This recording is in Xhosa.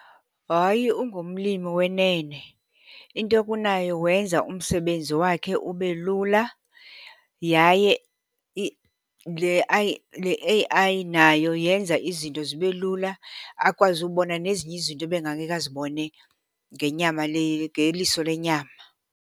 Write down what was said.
Hayi, ungumlimi wenene. Into okunayo wenza umsebenzi wakhe ube lula yaye le , le A_I nayo yenza izinto zibe lula, akwazi ubona nezinye izinto ebengangeke azibone ngenyama le, ngeliso lenyama.